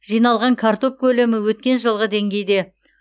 жиналған картоп көлемі өткен жылғы деңгейде